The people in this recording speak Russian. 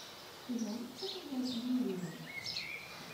ты можешь показать юлию